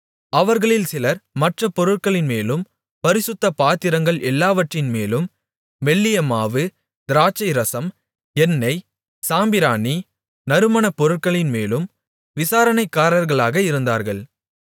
அவர்களில் சிலர் மற்றப் பொருட்களின்மேலும் பரிசுத்த பாத்திரங்கள் எல்லாவற்றின்மேலும் மெல்லிய மாவு திராட்சைரசம் எண்ணெய் சாம்பிராணி நறுமணப் பொருட்களின்மேலும் விசாரணைக்காரர்களாக இருந்தார்கள்